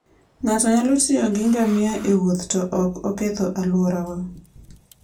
Ng'ato nyalo tiyo gi ngamia e wuoth to ok oketho alwora.